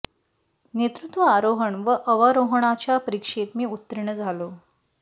नेतृत्व आरोहण व अवरोहणाच्या परीक्षेत मी उत्तीर्ण झालो